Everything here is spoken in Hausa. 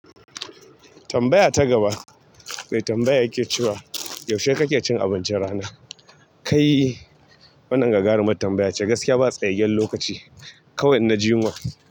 Tambaya ta gaba mai tambaya yake cewa, yaushe kake cin abincin rana? Kai wannan gagarumar tambaya ce, gaskiya ba tsayayyen lokaci, kawai inna ji yunwa.